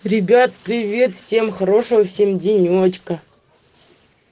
ребята привет всем хорошего всем денёчка